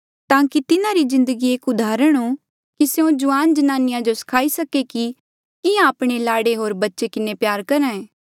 ताकि तिन्हारी जिन्दगी एक उदाहरण हो कि स्यों जुआन ज्नानिया जो सखाई सके कि किहां आपणे लाड़े होर बच्चे किन्हें प्यार करहे